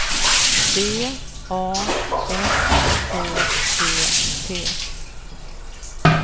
B A S K E T